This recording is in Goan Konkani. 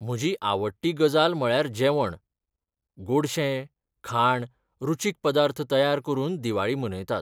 म्हजी आवडटी गजाल म्हळ्यार जेवण. गोडशें, खाण, रुचीक पदार्थ तयार करून दिवाळी मनयतात.